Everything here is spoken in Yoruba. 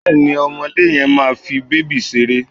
Bẹ́ẹ̀ni ọmọdé yẹn máa fi bèbí ṣeré